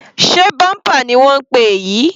Sé bumper ni wọ́n ń pè èyí?